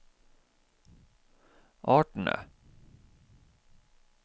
artene